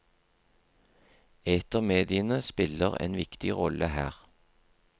Etermediene spiller en viktig rolle her.